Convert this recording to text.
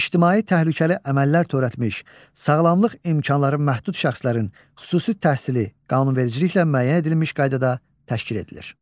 ictimai təhlükəli əməllər törətmiş, sağlamlıq imkanları məhdud şəxslərin xüsusi təhsili qanunvericiliklə müəyyən edilmiş qaydada təşkil edilir.